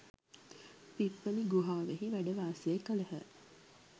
පිප්ඵලී ගුහාවෙහි වැඩවාසය කළහ.